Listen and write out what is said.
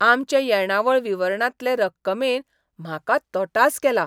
आमचे येणावळ विवरणांतले रक्कमेन म्हाका तटास केला.